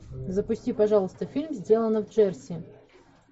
запусти пожалуйста фильм сделано в джерси